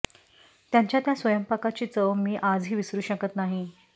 त्यांच्या त्या स्वयंपाकाची चव मी आजही विसरू शकत नाही